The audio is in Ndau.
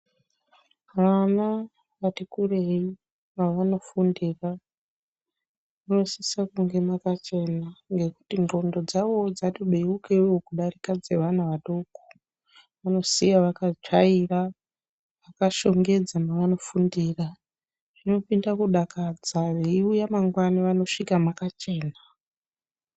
Vana vati kurei pavanofundira munosisa kunge makachena nekuti ndxondo dzavowo dzatibeukewo kudarika dzevana vadoko vanosiya vakatsvaira vakashongedza mavano fundira zvinopinda kudakadza veiuya mangwani vanosvika makachena.